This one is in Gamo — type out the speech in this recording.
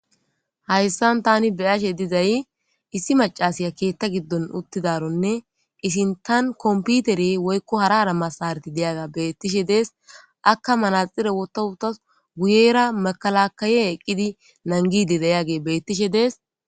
Hayssan tani beyashe dizay issi macasiya keetta giddon uttidaronne isin tan komputere woykko hara arammasarati deyaga beettishe dees akka manaxire wotowuta guyera makalakaye eqqidi nangidi dayage bettishe dees.